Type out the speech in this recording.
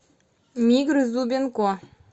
мигры зубенко